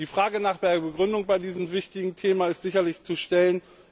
Die Frage nach der Begründung bei diesem wichtigen Thema ist sicherlich zu stellen.